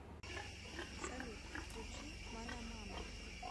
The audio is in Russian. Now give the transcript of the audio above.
салют включи манамама